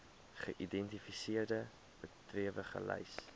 geïdentifiseerde bedrywe gelys